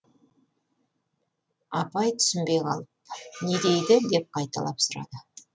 апай түсінбей қалып не дейді деп қайталап сұрады